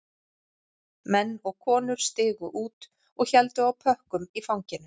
Menn og konur stigu út og héldu á pökkum í fanginu